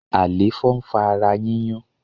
Àléfọ ń fa ara yiyun